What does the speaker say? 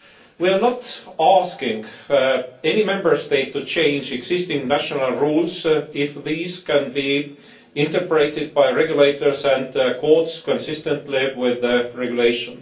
We are not asking any Member State to change existing national rules if these can be interpreted by regulators and courts consistently with the regulation.